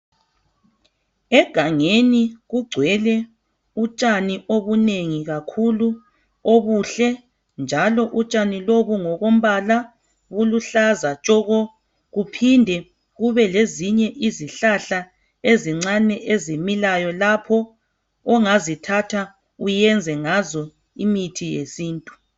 Egangeni kugcwele utshani obunengi kakhulu. Obuhle! Njalo utshani lobu ngokombala buluhlaza tshoko! Kuphinde kube lezinye izihlahla ezincane ezimilayo. Ongazithatha uyenze ngazo imithi yesintu.